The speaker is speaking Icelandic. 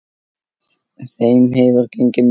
Þeim hefur gengið mjög vel.